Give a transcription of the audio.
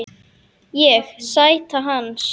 Ég: Sæta hans.